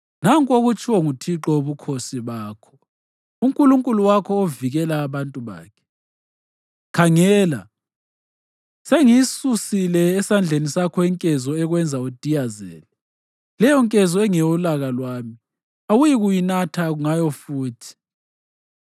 Nanku okutshiwo nguThixo Wobukhosi bakho, uNkulunkulu wakho ovikela abantu bakhe: “Khangela, sengiyisusile esandleni sakho inkezo ekwenza udiyazele; leyonkezo engeyolaka lwami, awuyikunatha ngayo futhi.